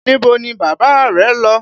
Níbo ni bàbá rẹ́ lọ?